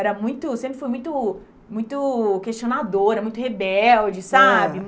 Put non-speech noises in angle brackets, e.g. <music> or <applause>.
Era muito eu sempre fui muito muito questionadora, muito rebelde, sabe? <unintelligible>